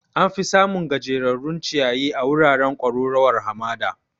Am fi samun gajejjerun ciyayi a wuraren kwararowar hamada